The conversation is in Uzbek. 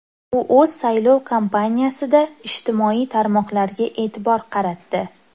U o‘z saylov kampaniyasida ijtimoiy tarmoqlarga e’tibor qaratdi.